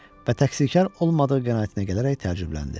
və taksikar olmadığı qənaətinə gələrək təəccübləndi.